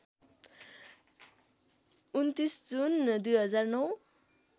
२९ जुन २००९